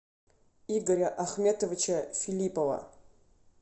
игоря ахметовича филиппова